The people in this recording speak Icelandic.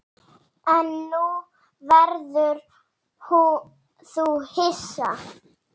En nú verður þú hissa!